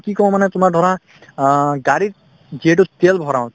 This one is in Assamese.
কি কওঁ মানে তোমাৰ ধৰা অ গাড়ীত যিহেতু তেল ভৰাও